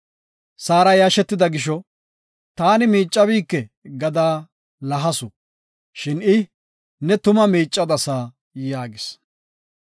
Saara yashetida gisho, “Taani miicabike” gada lahasu. Shin I, “Ne tuma miicadasa” yaagis.